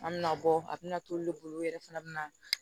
An bɛna bɔ a bɛna t'olu de bolo olu yɛrɛ fana bɛ na